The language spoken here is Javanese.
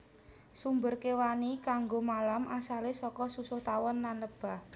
Sumber kéwani kanggo malam asalé saka susuh tawon lan lebah